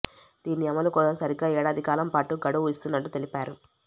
దీని అమలు కోసం సరిగ్గా ఏడాది కాలం పాటు గడువు ఇస్తున్నట్లు తెలిపారు